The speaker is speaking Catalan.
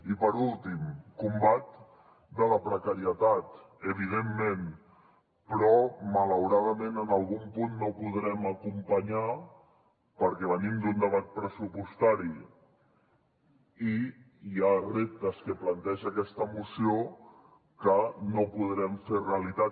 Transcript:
i per últim combat de la precarietat evidentment però malauradament en algun punt no ho podrem acompanyar perquè venim d’un debat pressupostari i hi ha reptes que planteja aquesta moció que no podrem fer realitat